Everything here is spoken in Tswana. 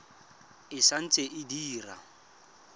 e sa ntse e dira